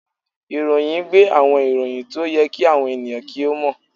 Ìròyìn gbé àwọn ìròyìn tí ó yẹ kí àwọn ènìyàn kí ó mọ̀